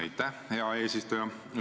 Aitäh, hea eesistuja!